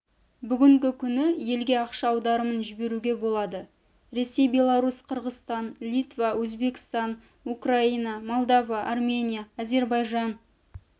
бүгінгі күні елге ақша аударымын жіберуге болады ресей беларусь қырғызстан литва өзбекстан украина молдова армения әзірбайжан